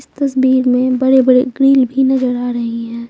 इस तस्वीर में बड़े बड़े ग्रिल भी नजर आ रही है।